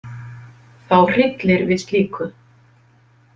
Þá hryllir við slíku.